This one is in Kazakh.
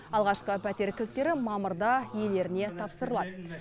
алғашқы пәтер кілттері мамырда иелеріне тапсырылады